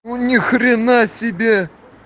ну ни хрена себе